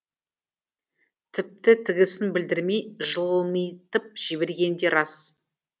тіпті тігісін білдірмей жылмитып жібергені де рас